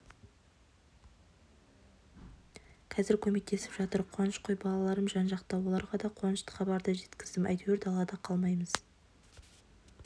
қазір көмектесіп жатыр қуаныш қой балаларым жан-жақта оларға да қуанышты хабарды жеткіздім әйтеуір далада қалмаймыз